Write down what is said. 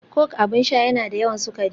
Coke abin sha yana da yawan sukari